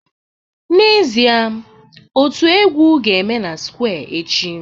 N'ezie, otu egwu ga-eme na square echi